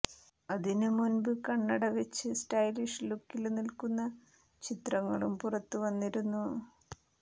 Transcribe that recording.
അതിന് മുന്പ് കണ്ണട വെച്ച് സ്റ്റൈലിഷ് ലുക്കില് നില്ക്കുന്ന ചിത്രങ്ങളും പുറത്ത് വന്നിരുന്നു